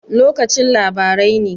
Lokacin labarai ne?